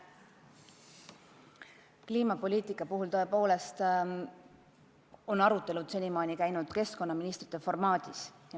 Kliimapoliitika arutelud on senimaani toimunud keskkonnaministrite formaadis.